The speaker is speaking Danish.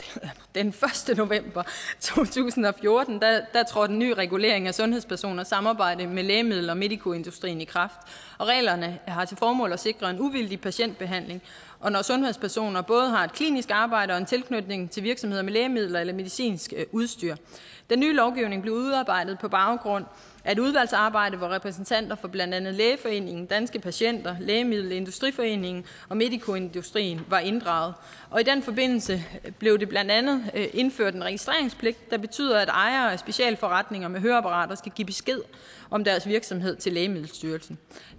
den første november to tusind og fjorten trådte en ny regulering af sundhedspersoners samarbejde med lægemiddel og medicoindustrien i kraft reglerne har til formål at sikre en uvildig patientbehandling når sundhedspersoner både har et klinisk arbejde og en tilknytning til virksomheder med lægemidler eller medicinsk udstyr den nye lovgivning blev udarbejdet på baggrund af et udvalgsarbejde hvor repræsentanter for blandt andet lægeforeningen danske patienter lægemiddelindustriforeningen og medicoindustrien var inddraget i den forbindelse blev der blandt andet indført en registreringspligt der betyder at ejere af specialforretninger med høreapparater skal give besked om deres virksomhed til lægemiddelstyrelsen